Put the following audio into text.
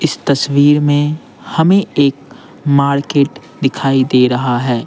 इस तस्वीर में हमें एक मार्केट दिखाई दे रहा है।